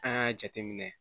An y'a jateminɛ